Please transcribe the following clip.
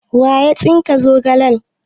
waya tsike zogalen nan?